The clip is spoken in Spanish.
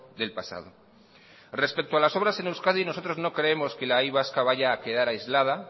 del pasado respecto a las obras en euskadi nosotros no creemos que la y vasca vaya a quedar aislada